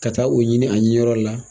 Ka taa o ɲini a ɲiniyɔrɔ la.